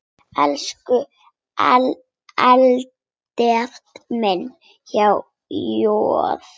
Elsku Albert minn, há joð.